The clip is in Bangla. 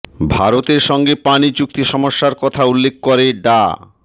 ভারতের সঙ্গে পানি চুক্তি সমস্যার কথা উল্লেখ করে ডা